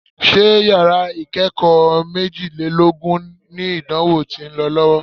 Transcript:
Ṣé yàrá ìkẹ́kọ̀ọ́ méjìlélọ́gbọ̀n ni ìdánwò tí ń lọ lọ́wọ́?